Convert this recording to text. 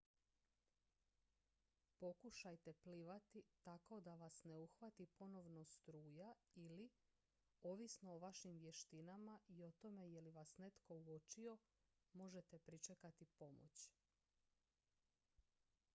pokušajte plivati tako da vas ne uhvati ponovno struja ili ovisno o vašim vještinama i o tome je li vas netko uočio možete pričekati pomoć